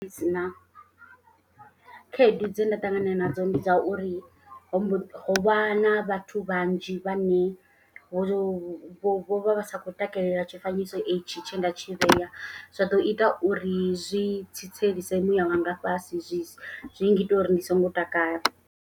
Ndi si na khaedu dze nda ṱangana nadzo ndi dza uri hombo ho vha na vhathu vhanzhi vhane vho vho vho vha vha sa khou takalela tshifanyiso e tshi. Tshe nda tshi vhea zwa ḓo ita uri zwi tsitselise muya wanga nga fhasi zwi zwi ngita uri ndi songo takala.